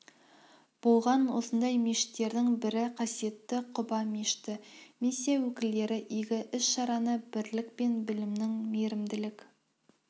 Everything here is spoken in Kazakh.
болған осындай мешіттердің бірі қасиетті құба мешіті миссия өкілдері игі іс-шараны бірлік пен білімнің мейрімділік